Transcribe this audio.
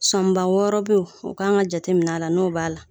Sɔnba wɔɔrɔ be ye o k'an ka jatemin'a la n'o b'a la